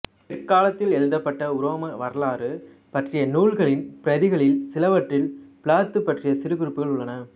பிற்காலத்தில் எழுதப்பட்ட உரோமை வரலாறு பற்றிய நூல்களின் பிரதிகளில் சிலவற்றில் பிலாத்து பற்றிய சிறு குறிப்புகள் உள்ளன